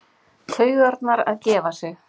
Taugarnar að gefa sig.